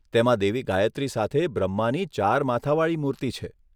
તેમાં દેવી ગાયત્રી સાથે બ્રહ્માની ચાર માથાવાળી મૂર્તિ છે.